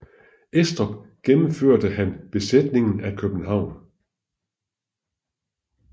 Estrup gennemførte han befæstningen af København